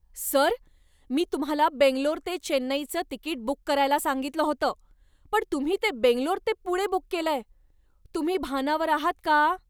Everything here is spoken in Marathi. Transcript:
सर! मी तुम्हाला बंगलोर ते चेन्नईचं तिकीट बुक करायला सांगितलं होतं, पण तुम्ही ते बंगलोर ते पुणे बुक केलंय. तुम्ही भानावर आहात का?